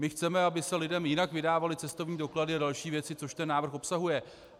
My chceme, aby se lidem jinak vydávaly cestovní doklady a další věci, což ten návrh obsahuje.